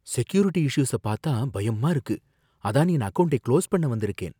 Security issues பாத்தா பயமா இருக்கு, அதான் என் அக்கவுண்ட்டை க்ளோஸ் பண்ண வந்திருக்கேன்.